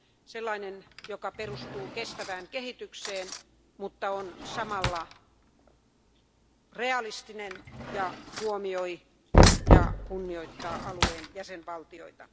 Sellainen, joka perustuu kestävään kehitykseen, mutta on samalla realistinen ja huomioi ja kunnioittaa alueen jäsenvaltioita.